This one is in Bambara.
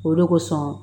O de kosɔn